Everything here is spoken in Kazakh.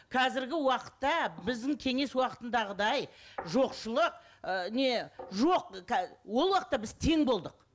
қазіргі уақытта біздің кеңес уақытындағыдай жоқшылық ы не жоқ ол уақытта біз тең болдық